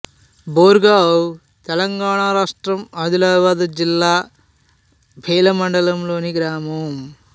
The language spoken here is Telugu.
బోరేగావ్ తెలంగాణ రాష్ట్రం ఆదిలాబాద్ జిల్లా బేల మండలంలోని గ్రామం